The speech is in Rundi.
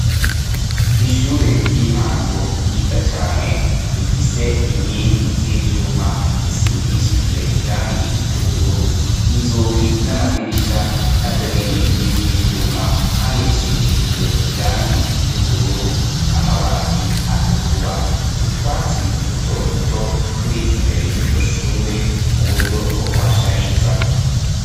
Ishure ry'intango ryiza cane rifise inkingi z'ivyuma zisigishijwe irangi ry'ubururu inzugi n'amadirisha na vyo nyene n'ivyo ivyuma, kandi bisigishijwe irangi ry'ubururu amabati atukura utwatsi duto duto turi imbere y'iryo shure mu buryo bwo kuhashariza.